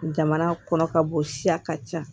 Jamana kɔnɔ ka bɔ siya ka ca